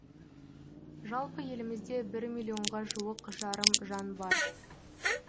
жалпы елімізде бір миллионға жуық жарым жан бар